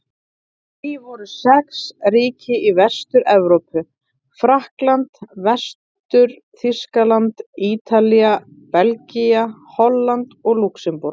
Í því voru sex ríki í Vestur-Evrópu: Frakkland, Vestur-Þýskaland, Ítalía, Belgía, Holland og Lúxemborg.